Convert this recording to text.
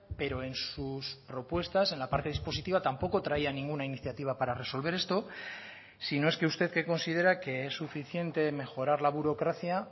pero en sus propuestas en la parte dispositiva tampoco traía ninguna iniciativa para resolver esto si no es que usted que considera que es suficiente mejorar la burocracia